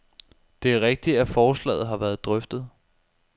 Det er rigtigt, at forslaget har været drøftet.